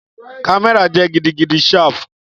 Kamẹra jẹ gidigidi sharp